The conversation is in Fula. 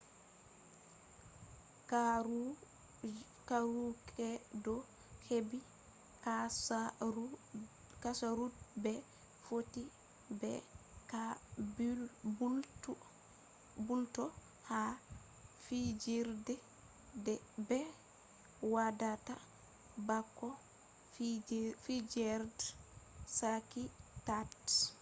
marukaido heɓi nasaru de ɓe fotti be kabulto ha fiijerde ɓe waɗata bako fijerde sakitaade